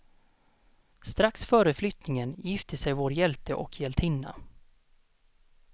Strax före flyttningen gifte sig vår hjälte och hjältinna.